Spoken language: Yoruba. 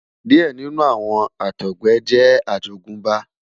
diẹ ninu awọn Àtọgbẹ jẹ àjogúnbá